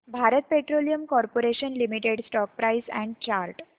Bharat petroleum corporation limited stock price and chart